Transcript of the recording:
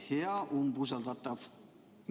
Hea umbusaldatav!